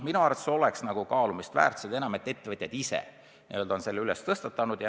Minu arvates on see kaalumist väärt ettepanek, seda enam, et ettevõtjad on selle probleemi tõstatanud.